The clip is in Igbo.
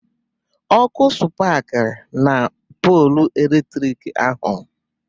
Ọkụ spakiri na polụ eletrik ahụ